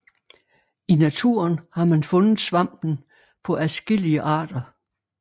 I naturen har man fundet svampen på adskillige arter